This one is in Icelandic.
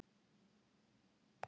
Bóas hljóðnaði og leit undan.